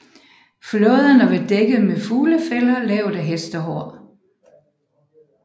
Flåderne var dækket med fuglefælder lavet af hestehår